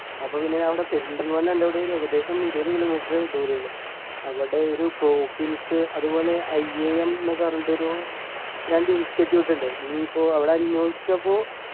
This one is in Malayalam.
അപ്പൊ പിന്നെ അവിടെ പെരിന്തൽമണ്ണന്റടൊരു ഏകദേശം ഇരുപത് kilometer ദൂരം ഉള്ളൂ അവിടെ ഒരു പ്രോഫിൻസ് അതുപോലെ I am ന്നു പറഞ്ഞിട്ട് ഒരു രണ്ടു institute ഉണ്ട് നീ പ്പോ അവിടെ അന്വേഷിച്ചപ്പോ